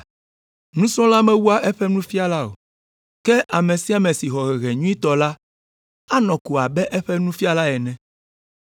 Nusrɔ̃la mewua eƒe nufiala o. Ke ame sia ame si xɔ hehe nyuitɔ la anɔ ko abe eƒe nufiala ene.